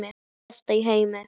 Best í heimi.